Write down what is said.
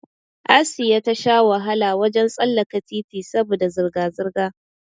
Asiya ta sha wahala wajen tsallaka titi saboda zirga zirga